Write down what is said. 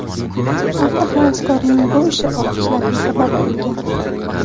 Avtohavaskorning bu ishi olqishlarga sabab bo‘lgan.